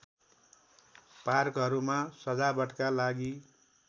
पार्कहरूमा सजावटका लागि